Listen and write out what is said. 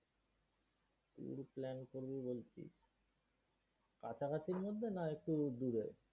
tour plan করবি বলছিস? কাছাকাছির মধ্যে না একটু দূরে?